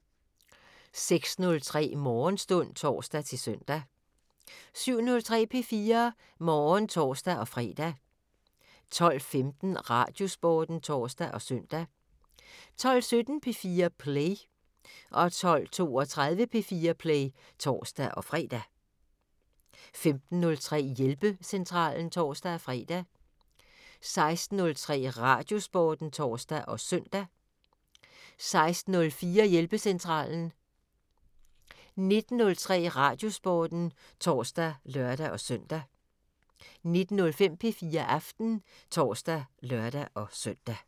06:03: Morgenstund (tor-søn) 07:03: P4 Morgen (tor-fre) 12:15: Radiosporten (tor og søn) 12:17: P4 Play 12:32: P4 Play (tor-fre) 15:03: Hjælpecentralen (tor-fre) 16:03: Radiosporten (tor og søn) 16:04: Hjælpecentralen 19:03: Radiosporten (tor og lør-søn) 19:05: P4 Aften (tor og lør-søn)